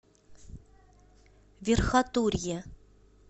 верхотурье